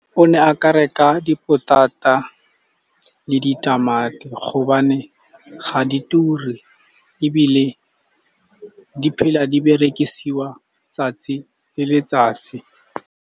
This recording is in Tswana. O ne aka reka dipotata le ditamati gobane ga di ture, ebile di phela di berekisiwa 'tsatsi le letsatsi.